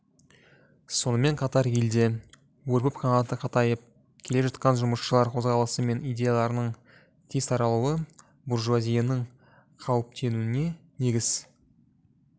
сонымен қатар елде өрбіп қанаты қатайып келе жатқан жұмысшылар қозғалысы мен идеяларының тез таралуы буржуазияның қауіптенуіне негіз